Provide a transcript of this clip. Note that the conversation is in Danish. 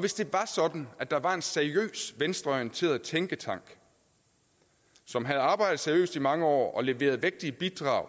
hvis det var sådan at der var en seriøs venstreorienteret tænketank som havde arbejdet seriøst i mange år og leveret vægtige bidrag